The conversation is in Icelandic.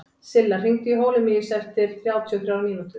Silla, hringdu í Holemíus eftir þrjátíu og þrjár mínútur.